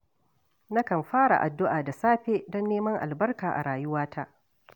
Na kan fara addu’a da safe don neman albarka a rayuwata.